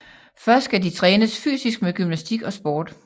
Først skal de trænes fysisk med gymnastik og sport